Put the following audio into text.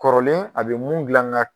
Kɔrɔlen a bɛ mun gilan an ga.